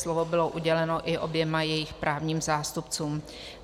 Slovo bylo uděleno i oběma jejich právním zástupcům.